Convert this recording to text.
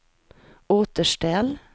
återställ